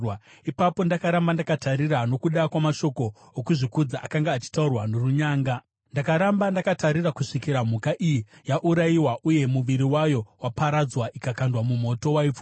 “Ipapo ndakaramba ndakatarira nokuda kwamashoko okuzvikudza akanga achitaurwa norunyanga. Ndakaramba ndakatarira kusvikira mhuka iyi yaurayiwa uye muviri wayo waparadzwa ikakandwa mumoto waipfuta.